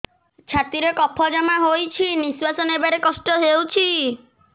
ଛାତିରେ କଫ ଜମା ହୋଇଛି ନିଶ୍ୱାସ ନେବାରେ କଷ୍ଟ ହେଉଛି